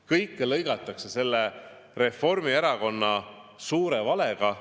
Kõike lõigatakse Reformierakonna suure valega.